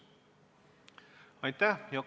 Aitäh!